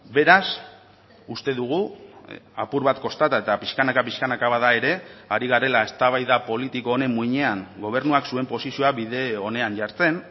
beraz uste dugu apur bat kostata eta pixkanaka pixkanaka bada ere ari garela eztabaida politiko honen muinean gobernuak zuen posizioa bide onean jartzen